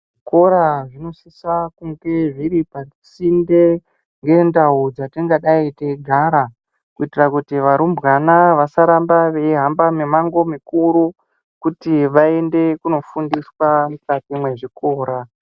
Zvikora zvinosisa zviri pasinde nendau dzatingadai dzeigara kuitira kuti varumbwana vasaramba veihamba mimango mikuru kuti vaende kundfundiswa mukati mezvikora.